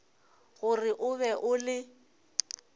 gore o be o le